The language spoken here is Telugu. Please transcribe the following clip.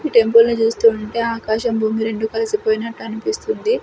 ఈ టెంపుల్ ని చూస్తుంటే ఆకాశం భూమి రెండు కలిసిపోయినట్టు అనిపిస్తుంది.